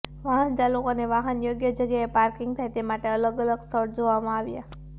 વાહન ચાલકોને વાહન યોગ્ય જગ્યાએ પાર્કિગ થાય તે માટેના અલગ અલગ સ્થળ જોવામાં આવ્યા